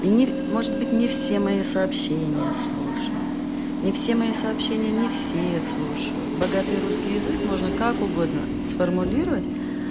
или может быть мне все мои сообщения слушают не все мои сообщения не все слушают богатый русский язык можно как угодно сформулировать